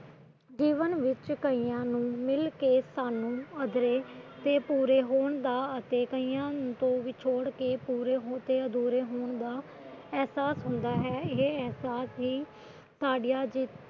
ਜੀਵਨ ਵਿੱਚ ਕਈਆਂ ਨੂੰ ਮਿਲ ਕੇ ਅਧੂਰੇ ਤੇ ਪੂਰੇ ਹੋਣ ਦਾ ਅਤੇ ਕਈਆਂ ਨੂੰ ਤੋੜ ਕੇ ਪੂਰੇ ਤੇ ਅਧੂਰੇ ਹੋਣ ਦਾ ਅਹਿਸਾਸ ਹੁੰਦਾ ਹੈ ਇਹ ਅਹਿਸਾਸ ਹੀ ਸਾਾਡੀਆਂ